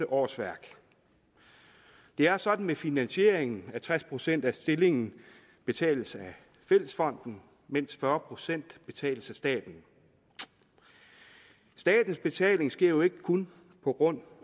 årsværk det er sådan med finansieringen at tres procent af en stilling betales af fællesfonden mens fyrre procent betales af staten statens betaling sker jo ikke kun på grund